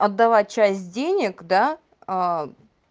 отдавала часть денег да